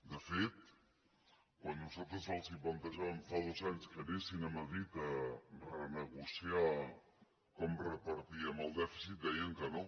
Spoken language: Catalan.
de fet quan nosaltres els plantejàvem fa dos anys que anessin a madrid a renegociar com repartíem el dèficit deien que no